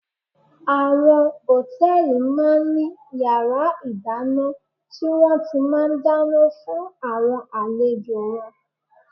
Àwọn Hòtẹ́lìì máa ń ní yàrá ìdáná tí wón ti máa ń dáná fún àwọn àlejò wọn.